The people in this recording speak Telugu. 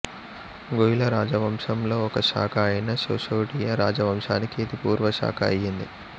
గుహిలా రాజవంశంలో ఒక శాఖ అయిన శిశోడియా రాజవంశానికి ఇది పూర్వశాఖ అయ్యింది